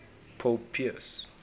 pope pius